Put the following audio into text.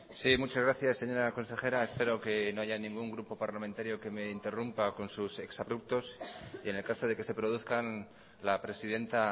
sí muchas gracias señora consejera espero que no haya ningún grupo parlamentario que me interrumpa con sus exabruptos y en el caso de que se produzcan la presidenta